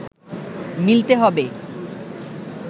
মিলতে হবে